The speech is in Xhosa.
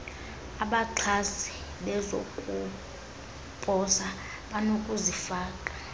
abaxhasi bezokuposa banokuzifaka